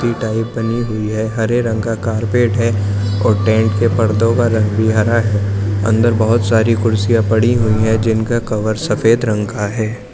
बनी हुई है| हरे रंग का कारपेट है और टेंट के पर्दो का रंग भी हरा है| अन्दर बहोत सारी कुर्सिया पड़ी हुई है जिनका कवर सफेद रंग का है।